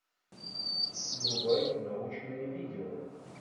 врубай научные видео